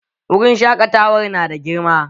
Wurin shaƙatawar nada girma